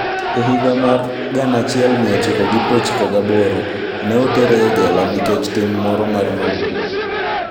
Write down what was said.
E higa mar 1998, ne otere e jela nikech tim moro mar mahundu.